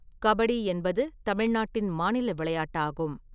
கபடி என்பது தமிழ்நாட்டின் மாநில விளையாட்டாகும்.